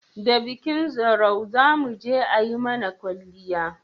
da bikin zarau zamuje ayi mana kwalliya